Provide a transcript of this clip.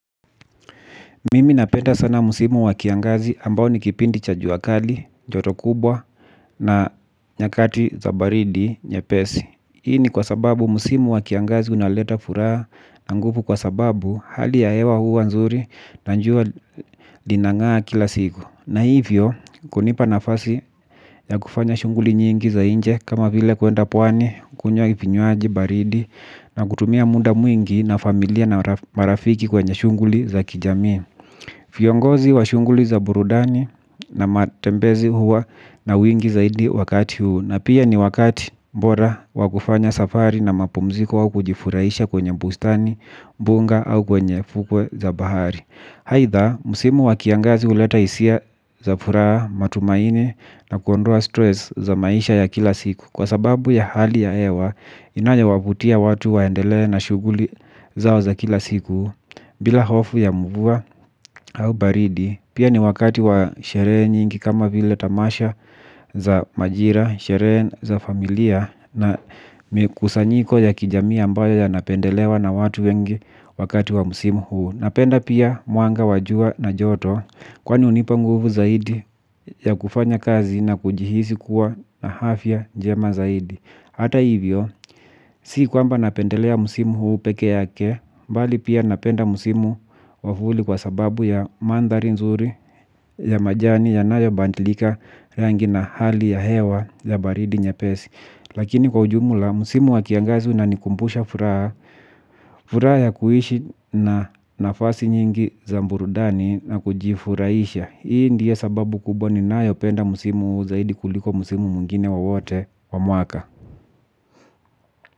Mimi napenda sana msimu wa kiangazi ambao nikipindi cha juakali, joto kubwa na nyakati za baridi nyepesi. Hii ni kwa sababu msimu wa kiangazi unaleta furaha na nguvu kwa sababu hali ya hewa huwa nzuri na jua linangaa kila siku. Na hivyo, kunipa nafasi ya kufanya shughuli nyingi za nje kama vile kuenda pwani, kunywa vinywaji, baridi na kutumia muda mwingi na familia na marafiki kwenye shunguli za kijamii. Viongozi wa shughuli za burudani na matembezi huwa na wingi zaidi wakati huu, na pia ni wakati bora wakufanya safari na mapumziko wa kujifurahisha kwenye bustani, mbuga au kwenye fukwe za bahari aidha, msimu wa kiangazi huleta hisia za furaha matumaini na kuondoa stress za maisha ya kila siku. Kwa sababu ya hali ya hewa inayo wavutia watu waendelee na shuguli zao za kila siku bila hofu ya mvua au baridi pia ni wakati wa sherehe nyingi kama vile tamasha za majira, sherehe za familia na kusanyiko ya kijamii ambayo yanapendelewa na watu wengi wakati wa msimu huo. Napenda pia mwanga wa jua na joto kwani hunipa nguvu zaidi ya kufanya kazi na kujihisi kuwa na afya jema zaidi. Hata hivyo, si kwamba napendelea msimu huu peke yake, bali pia napenda msimu wa vuli kwa sababu ya mandhari nzuri ya majani yanayo badilika rangi na hali ya hewa ya baridi nyepesi. Lakini kwa ujumla, msimu wakiangazi unanikumbusha furaha. Furaha ya kuishi na nafasi nyingi za burudani na kujifurahisha. Hii ndio sababu kubwa ninayo penda msimu huu zaidi kuliko msimu mwingine wowote wa mwaka.